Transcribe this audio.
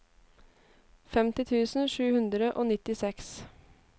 femti tusen sju hundre og nittiseks